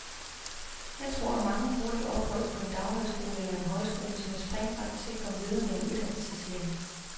Jeg tror, at mange bruger et ophold på en daghøjskole eller en højskole som et springbræt til at komme videre med en uddannelse, siger han.